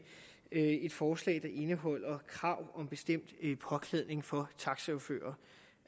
forslag der indeholder krav om bestemt påklædning for taxachauffører